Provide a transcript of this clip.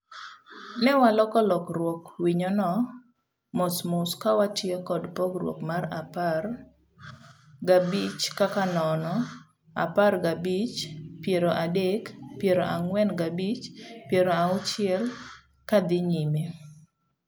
Ne waloko lokruog winyono mosmoskawatiyo kod pogruok mar apar gabichkaka nono, apar gabich, piero adek, piero ang'wen gabich, piero auchiel kadhi nyime.